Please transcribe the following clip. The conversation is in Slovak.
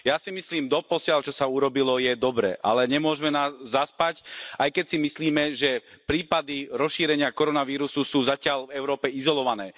Ja si myslím, doposiaľ čo sa urobilo je dobré, ale nemôžme zaspať, aj keď si myslíme, že prípady rozšírenia koronavírusu sú zatiaľ v Európe izolované.